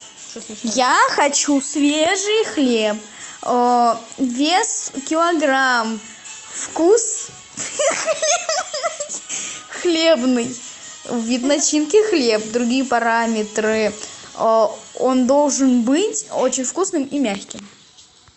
я хочу свежий хлеб вес килограмм вкус хлебный вид начинки хлеб другие параметры он должен быть очень вкусным и мягким